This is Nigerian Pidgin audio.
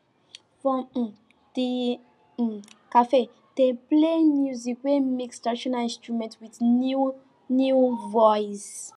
for um di um cafe dem play music wey mix traditional instrument with new new voice